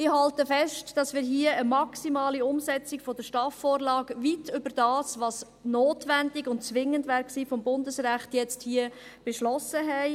Ich halte fest, dass wir hier eine maximale Umsetzung der STAF-Vorlage beschlossen haben, die weit über das hinausgeht, was gemäss Bundesrecht notwendig oder zwingend gewesen wäre.